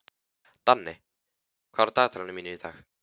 Danni, hvað er á dagatalinu mínu í dag?